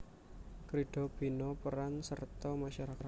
Krida Bina Peran Serta Masyarakat